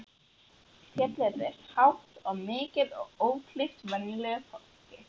Fjallið er hátt og mikið og ókleift venjulegu ferðafólki.